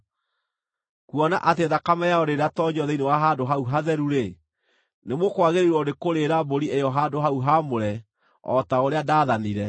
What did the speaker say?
Kuona atĩ thakame yayo ndĩnatoonyio thĩinĩ wa Handũ-hau-Hatheru-rĩ, nĩmũkwagĩrĩirwo nĩkũrĩĩra mbũri ĩyo Handũ-hau-Haamũre, o ta ũrĩa ndaathanire.”